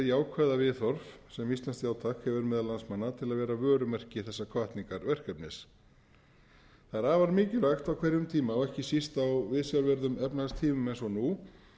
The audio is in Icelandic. jákvæða viðhorf sem íslenskt já takk hefur meðal landsmanna til að vera vörumerki þessa hvatningarverkefnis það er afar mikilvægt á hverjum tíma og ekki síst á viðsjárverðum efnahagstímum eins og nú